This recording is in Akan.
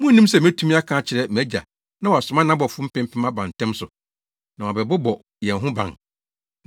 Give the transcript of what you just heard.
Munnim sɛ metumi aka akyerɛ mʼAgya na wasoma nʼabɔfo mpempem aba ntɛm so, na wɔabɛbɔ yɛn ho ban?